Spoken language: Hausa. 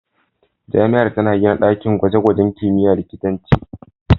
Jami'ar tana gina dakin gwaje-gwajen kimiyyar likitanci.